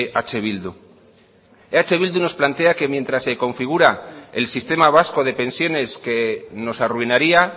eh bildu eh bildu nos plantea que mientras se configura el sistema vasco de pensiones que nos arruinaría